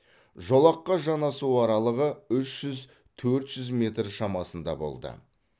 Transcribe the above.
жолаққа жанасу аралығы үш жүз төрт жүз метр шамасында болды